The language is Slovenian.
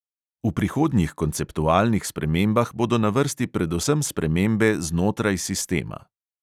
V prihodnjih konceptualnih spremembah bodo na vrsti predvsem spremembe znotraj sistema.